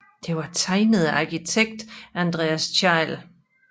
Det var tegnet af arkitekt Andreas Thejll